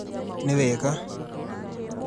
Nĩ wega!